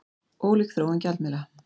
Ólík þróun gjaldmiðla